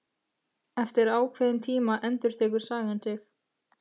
Eftir ákveðinn tíma endurtekur sagan sig.